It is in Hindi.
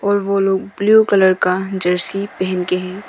और वो लोग ब्लू कलर का जर्सी पहन के हैं।